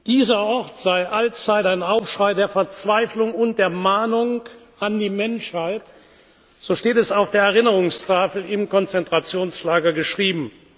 Dieser Ort sei allzeit ein Aufschrei der Verzweiflung und der Mahnung an die Menschheit, so steht es auf der Erinnerungstafel im Konzentrationslager geschrieben.